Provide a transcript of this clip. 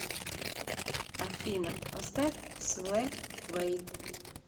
афина поставь свэвэй